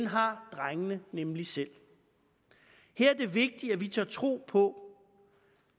har drengene nemlig selv her er det vigtigt at vi tør tro på